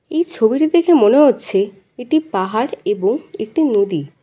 এই ছবিটি দেখে মনে হচ্ছে এটি পাহাড় এবং একটি নদী।